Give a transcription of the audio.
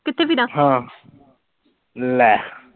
ਕਿਥੇ ਫਿਰਾਂ, ਹਾਂ ਲੈ